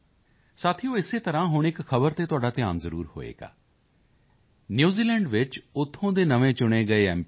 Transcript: ਸਾਥੀਓ ਇਸੇ ਤਰ੍ਹਾਂ ਹੁਣ ਇੱਕ ਖ਼ਬਰ ਤੇ ਤੁਹਾਡਾ ਧਿਆਨ ਜ਼ਰੂਰ ਗਿਆ ਹੋਵੇਗਾ ਨਿਊਜ਼ੀਲੈਂਡ ਵਿੱਚ ਉੱਥੋਂ ਦੇ ਨਵੇਂ ਚੁਣੇ ਗਏ ਐੱਮ